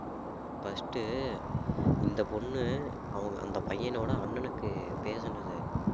first உ இந்த பொண்ணு அவங்க~ அந்த பையனோட அண்ணனுக்கு பேசினது